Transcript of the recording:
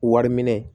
Wari minɛ